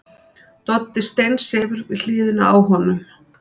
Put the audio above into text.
Doddi steinsefur við hliðina á honum.